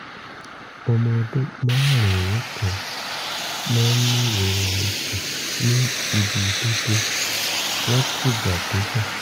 ọmọ ọdún márùn-ún kan máa ń ní ìrora ikùn ní ibi ìdodo látìgbàdégbà?